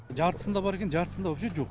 жартысында бар екен жартысында вообще жоқ